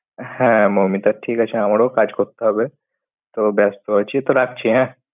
হ্যাঁ, মৌমিতার ঠিক আছে আমারও কাজ করতে হবে। তো ব্যস্ত আছি। তো রাখছি হ্যাঁ।